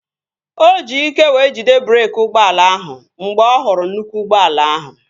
O ji ike wee jide breeki ụgbọala ahụ mgbe ọ hụrụ nnukwu ụgbọala ahụ